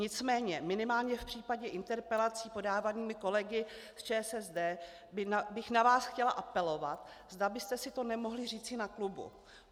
Nicméně minimálně v případě interpelací podávaných kolegy z ČSSD bych na vás chtěla apelovat, zda byste si to nemohli říci na klubu.